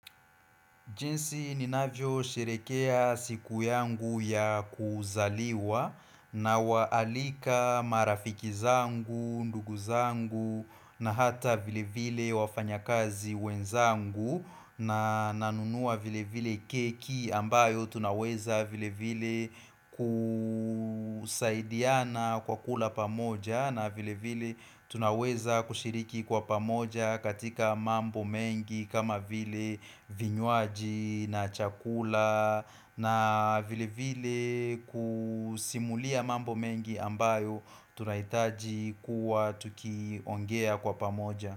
Jinsi ninavyo sherekea siku yangu ya kuzaliwa nawaalika marafiki zangu, ndugu zangu na hata vile vile wafanya kazi wenzangu na nanunua vile vile keki ambayo tunaweza vile vile kusaidiana kwa kula pamoja na vile vile tunaweza kushiriki kwa pamoja katika mambo mengi kama vile vinywaji na chakula na vile vile kusimulia mambo mengi ambayo tunahitaji kuwa tukiongea kwa pamoja.